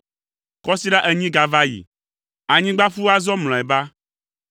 Kɔsiɖa enyi gava yi. Anyigba ƒu azɔ mlɔeba.